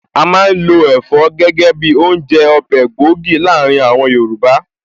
A má ń lo Ẹ̀fọ́ gẹ́gẹ́ bi oúnjẹ/ Ọbẹ̀ gbòógì láàárín àwọn Yorùbá